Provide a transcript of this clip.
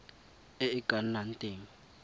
e e ka nnang teng